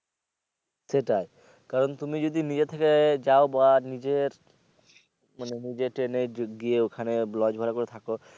সেটাই কারন তুমি যদি নিজের থেকে যাও বা নিজের মানে নিজে ট্রেনে গিয়ে ওখানে lodge ভাড়া করে থাকো